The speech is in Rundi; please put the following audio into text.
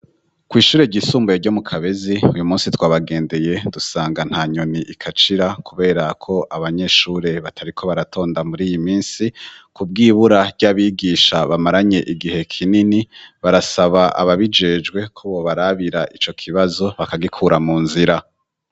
ku ishuri ryisumbuye ryo mu Kabezi uyu munsi twabagendeye dusanga ntanyoni ikacira kubera ko abanyeshure batariko baratonda muri iyi minsi ku bw'ibura ry'abigisha bamaranye igihe kinini barasaba ababijejwe ko bo barabira ico kibazo bakagikura mu nzira.